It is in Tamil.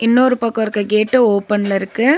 இன்னொரு பக்கோ இருக்க கேட்டு ஓபன்ல இருக்கு.